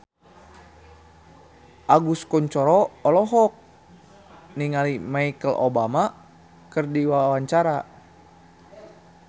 Agus Kuncoro olohok ningali Michelle Obama keur diwawancara